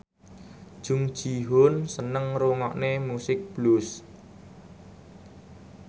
Jung Ji Hoon seneng ngrungokne musik blues